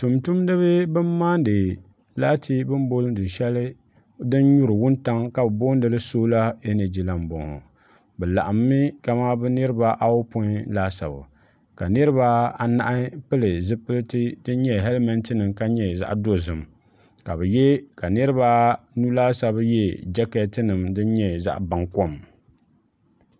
tumtumdiba bin maandi laati shɛli din nyuri wuntaŋ ka bi booni li soola ɛnɛji la n bɔŋɔ bi laɣammi kamani bi niraba apoin laasabu ka niraba anahi pili zipiliti din nyɛ hɛlmɛnt nim ka nyɛ zaɣ dozim ka niraba anu laasabu yɛ jɛkɛt nim din nyɛ zaɣ baŋkom